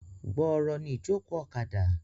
Gbooro ni ìjókòó ọ̀kadà.